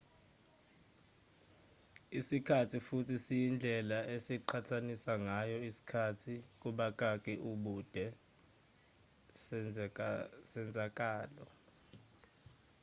isikhathi futhi siyindlela esiqhathanisa ngayo isikhathi ubude sezenzakalo